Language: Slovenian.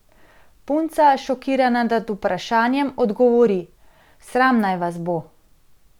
Punca, šokirana nad vprašanjem, odgovori: ''Sram naj vas bo.